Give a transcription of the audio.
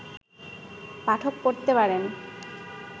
পাঠক পড়তে পারেন